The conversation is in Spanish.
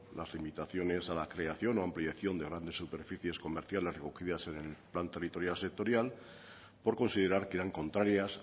las limitaciones a la creación a ampliación de grandes superficies comerciales recogidas en el plan territorial sectorial por considerar que eran contrarias